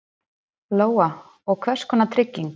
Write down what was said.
Lóa: Og hvers konar trygging?